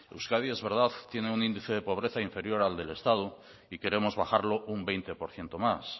euskadi es verdad tiene un índice de pobreza inferior al del estado y queremos bajarlo un veinte por ciento más